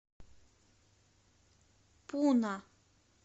пуна